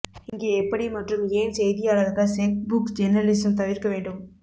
இங்கே எப்படி மற்றும் ஏன் செய்தியாளர்கள் செக் புக் ஜர்னலிசம் தவிர்க்க வேண்டும்